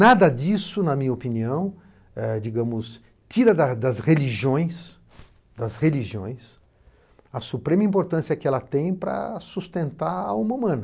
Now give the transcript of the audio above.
Nada disso, na minha opinião, eh digamos, tira da das religiões, das religiões a suprema importância que ela tem para sustentar a alma humana.